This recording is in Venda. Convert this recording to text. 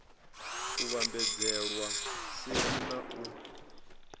u vhambadzelwa seli na u